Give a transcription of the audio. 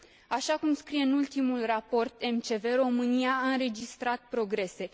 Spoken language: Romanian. Așa cum scrie în ultimul raport MCV, România a înregistrat progrese.